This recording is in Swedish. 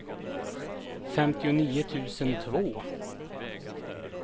femtionio tusen två